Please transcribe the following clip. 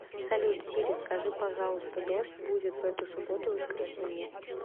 салют сири скажи пожалуйста дождь будет в эту субботу воскресенье